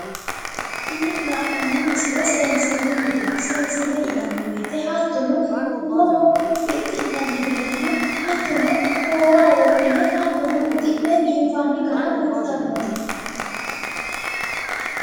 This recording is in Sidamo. Tini la'noommo misile seensillunnite. seensille yinanni woyite hattono. umo fixxi'nanni garanna hattono goowaho wodhine hattono uddi'ne biinfanni gara kultannote.